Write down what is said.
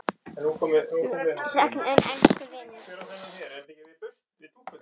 Mun sakna þín, elsku vinur.